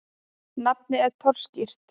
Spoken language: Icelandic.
Nafnið er torskýrt.